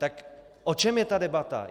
Tak o čem je ta debata?